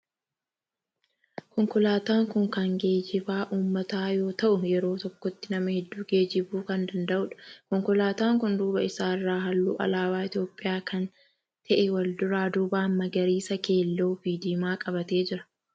Konkolaataan kun kan geejjiba ummataa yoo ta'u yeroo tokkotti nama hedduu geejjibuu kan danda'udha. Konkolaatan kun duuba isaa irraa halluu alaabaa Itiyoophiyaa kan ta'e wal duraa duuban magariisa, keelloo fi diimaa qabatee jira.